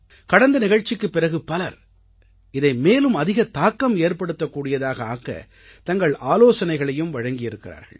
கடந்த நிகழ்ச்சிக்குப் பிறகு பலர் இதை மேலும் அதிக தாக்கம் ஏற்படுத்தக்கூடியதாக ஆக்கத் தங்கள் ஆலோசனைகளையும் வழங்கி இருக்கிறார்கள்